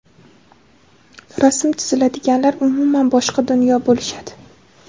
Rasm chizadiganlar - umuman boshqa dunyo bo‘lishadi.